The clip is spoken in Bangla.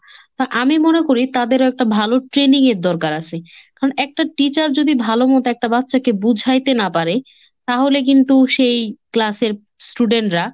হ্যা আমি মনে করি তাদের একটা ভালো training এর দরকার আসে। কারণ একটা teacher যদি ভালো মতো একটা বাচ্চাকে বুঝাইতে না পারে তাহলে কিন্তু সেই class এর student রা